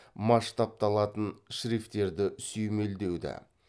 масштабталатын шрифтерді сүймелдеуді